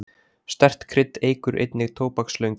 Sterkt krydd eykur einnig tóbakslöngun.